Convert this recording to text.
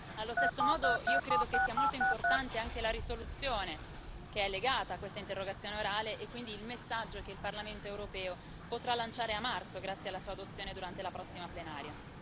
Allo stesso modo io credo che sia molto importante anche la risoluzione, che è legata a questa interrogazione orale, e quindi il messaggio che il Parlamento europeo potrà lanciare a marzo grazie alla sua approvazione durante la prossima plenaria.